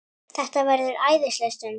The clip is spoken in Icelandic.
Þetta verður æðisleg stund.